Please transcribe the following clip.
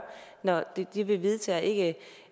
når det vi vedtager ikke